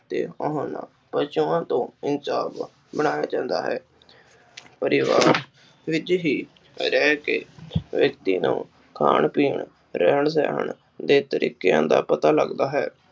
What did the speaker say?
ਪਸ਼ੂਆਂ ਤੋਂ ਇਨਸਾਨ ਬਣਾਇਆ ਜਾਂਦਾ ਹੈ। ਪਰਿਵਾਰ ਵਿਚ ਹੀ ਰਹਿਕੇ ਵਿਅਕਤੀ ਨੂੰ ਖਾਣ-ਪੀਣ, ਰਹਿਣ-ਸਹਿਣ ਦੇ ਤਰੀਕਿਆਂ ਦਾ ਪਤਾ ਲੱਗਦਾ ਹੈ।